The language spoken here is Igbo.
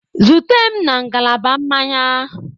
Zute m na ngalaba mmanya.